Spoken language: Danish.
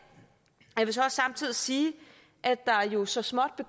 og samtidig sige at der jo så småt